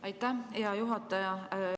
Aitäh, hea juhataja!